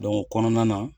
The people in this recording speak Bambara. o kɔnɔna na